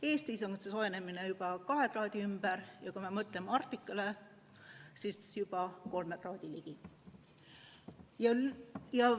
Eestis on soojenemine juba 2 kraadi ringis, aga kui me mõtleme Arktikale, siis seal juba 3 kraadi ligi.